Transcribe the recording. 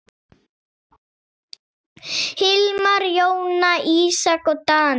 Hilmar, Jóna, Ísak og Daníel.